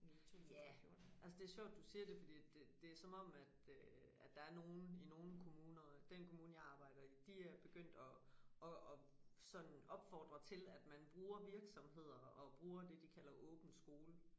Ja altså det sjovt du siger det fordi at det det som om at øh at der er nogen i nogle kommuner den kommune jeg arbejder i de er begyndt at at at sådan opfordre til at man bruger virksomheder og bruger det de kalder åben skole